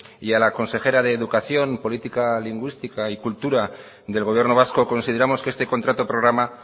y a la consejera de educación política lingüística y cultura del gobierno vasco consideramos que este contrato programa